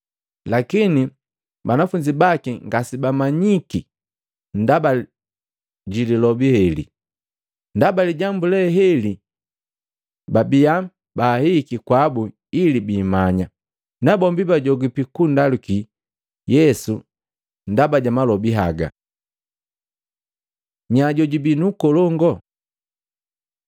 Lakini banafunzi baki ngasebamanyiki ndaba lilobi heli, ndaba lijambu leheli babibia baahihiki kwabu ili biimanya, nabombi bajogipi kundaluki Yesu ndaba ja malobi haga. Nya jojubi nkolongu? Matei 18:1-5; Maluko 9:33-37